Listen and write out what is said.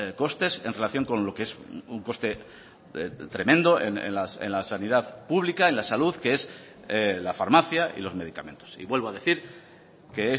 costes en relación con lo que es un coste tremendo en la sanidad pública en la salud que es la farmacia y los medicamentos y vuelvo a decir que